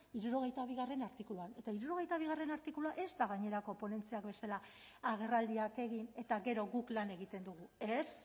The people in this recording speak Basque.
hirurogeita bigarrena artikuluan eta hirurogeita bigarrena artikulua ez da gainerako ponentziak bezala agerraldiak egin eta gero guk lan egiten dugu ez